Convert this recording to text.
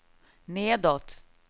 nedåt